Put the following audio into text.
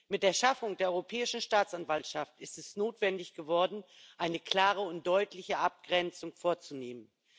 Mit der Schaffung der Europäischen Staatsanwaltschaft ist es notwendig geworden, eine klare und deutliche Abgrenzung vorzunehmen.